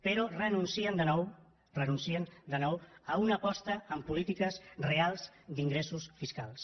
però renuncien de nou renuncien de nou a una aposta per polítiques reals d’ingressos fiscals